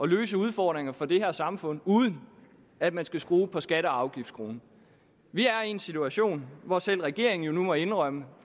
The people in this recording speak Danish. løse udfordringer for det her samfund uden at man skal skrue på skatte og afgiftsskruen vi er i en situation hvor selv regeringen jo nu må indrømme